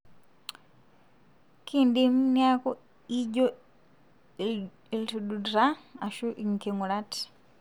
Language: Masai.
kindim niaku ijio ildututa ashu inkingurat.